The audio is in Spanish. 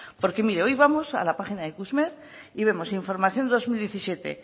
porque mire hoy vamos a la página de ikusmer y vemos información de dos mil diecisiete